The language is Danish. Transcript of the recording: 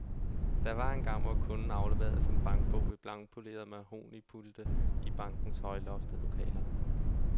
Der var engang, hvor kunden afleverede sin bankbog ved blankpolerede mahognipulte i bankernes højloftede lokaler.